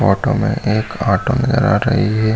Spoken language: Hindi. ऑटो में एक ऑटो में आठ रही है।